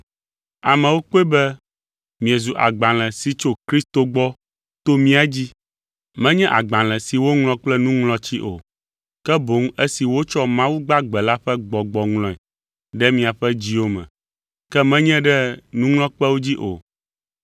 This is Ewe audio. Amewo akpɔe be miezu agbalẽ si tso Kristo gbɔ to mía dzi. Menye agbalẽ si woŋlɔ kple nuŋlɔtsi o, ke boŋ esi wotsɔ Mawu gbagbe la ƒe Gbɔgbɔ ŋlɔe ɖe miaƒe dziwo me, ke menye ɖe nuŋlɔkpewo dzi o.